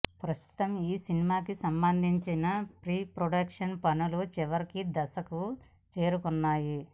ప్రస్తుతం ఈ సినిమాకి సంబందించిన ప్రీప్రొడక్షన్ పనులు చివరి దశకు చేరుకున్నాయి